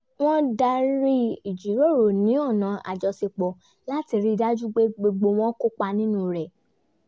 wọ́n darí ìjíròrò ní ọ̀nà àjọṣepọ̀ láti rí dájú pé gbogbo wọn kópa nínú rẹ̀